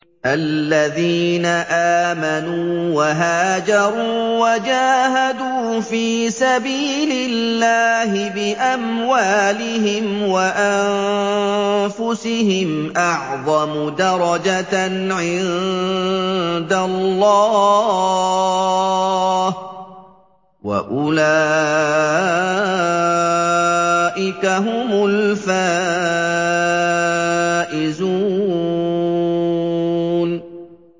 الَّذِينَ آمَنُوا وَهَاجَرُوا وَجَاهَدُوا فِي سَبِيلِ اللَّهِ بِأَمْوَالِهِمْ وَأَنفُسِهِمْ أَعْظَمُ دَرَجَةً عِندَ اللَّهِ ۚ وَأُولَٰئِكَ هُمُ الْفَائِزُونَ